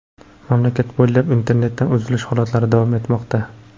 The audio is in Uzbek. Mamlakat bo‘ylab internetdan uzilish holatlari davom etmoqda.